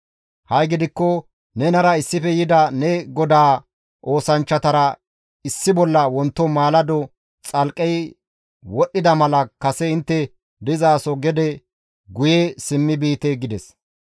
Ha7i gidikko nenara issife yida ne godaa oosanchchatara issi bolla wonto maalado xalqqey wodhdhida mala kase intte dizaso gede guye simmi biite» gides.